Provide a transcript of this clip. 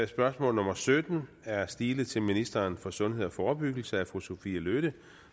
spørgsmål nummer sytten er stilet til ministeren for sundhed og forebyggelse af fru sophie løhde